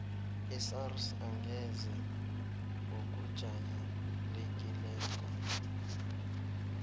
isars angeze ngokujayelekileko